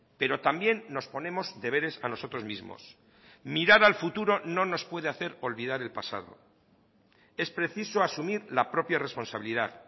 pero también nos ponemos deberes a nosotros mismos mirar al futuro no nos puede hacer olvidar el pasado es preciso asumir la propia responsabilidad